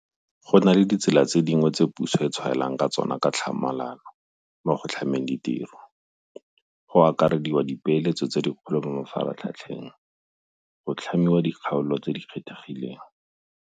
Go na le ditsela tse dingwe tse puso e tshwaelang ka tsona ka tlhamalalo mo go tlhameng ditiro, go akarediwa ka dipeeletso tse dikgolo mo mafaratlhatlheng, go tlhamiwa ga dikgaolo tse di kgethegileng.